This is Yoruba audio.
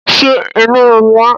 Ṣé inú ń run ẹ́?